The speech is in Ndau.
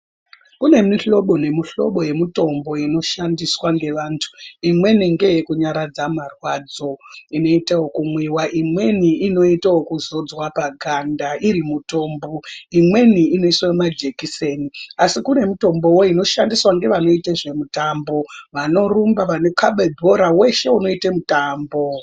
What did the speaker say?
Kune mihlobo nemihlobo yemitombo inoshandiswa ngevantu imweni ngeyekunyaradza marwadzo inoite ekumwiwa, imweni inoite ekudzodzwe paganda iri mitombo. Imweni inoiswe majekiseni asi kune mitombowo inoshandiswa ngevanoite zvemitambo vanorumba , vanokhabe bhora weshe unoite mutambo.